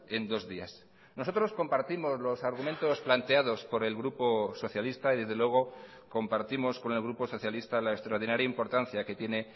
en dos días nosotros compartimos los argumentos planteados por el grupo socialista y desde luego compartimos con el grupo socialista la extraordinaria importancia que tiene